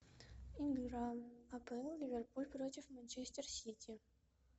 игра апл ливерпуль против манчестер сити